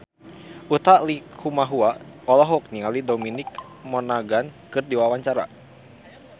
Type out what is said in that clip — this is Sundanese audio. Utha Likumahua olohok ningali Dominic Monaghan keur diwawancara